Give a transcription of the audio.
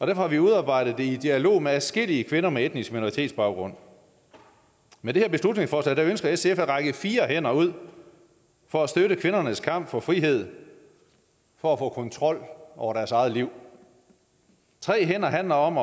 har vi udarbejdet det i dialog med adskillige kvinder med etnisk minoritetsbaggrund med det her beslutningsforslag ønsker sf at række fire hænder ud for at støtte kvindernes kamp for frihed for at få kontrol over deres eget liv tre hænder handler om